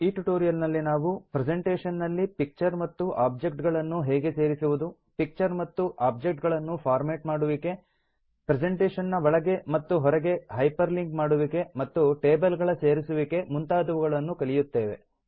ಈ ಟ್ಯುಟೋರಿಯಲ್ ನಲ್ಲಿ ನಾವು ಪ್ರೆಸೆಂಟೇಷನ್ ನಲ್ಲಿ ಪಿಕ್ಚರ್ ಮತ್ತು ಆಬ್ಜೆಕ್ಟ್ ಗಳನ್ನು ಹೇಗೆ ಸೇರಿಸುವುದು ಪಿಕ್ಚರ್ ಮತ್ತು ಆಬ್ಜೆಕ್ಟ್ ಗಳನ್ನು ಫಾರ್ಮೇಟ್ ಮಾಡುವಿಕೆ ಪ್ರೆಸೆಂಟೇಷನ್ ನ ಒಳಗೆ ಮತ್ತು ಹೊರಗೆ ಹೈಪರ್ ಲಿಂಕ್ ಮಾಡುವಿಕೆ ಮತ್ತು ಟೇಬಲ್ ಗಳ ಸೇರಿಸುವುಕೆ ಮುಂತಾದವುಗಳನ್ನು ಕಲಿಯುತ್ತೇವೆ